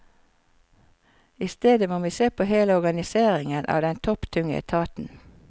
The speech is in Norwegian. I stedet må vi se på hele organiseringen av den topptunge etaten.